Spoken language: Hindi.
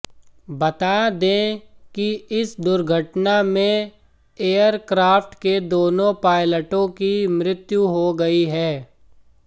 बता दें कि इस दुर्घटना में एयरक्रॉफ्ट के दोनों पायलटों की मृत्यू हो गई है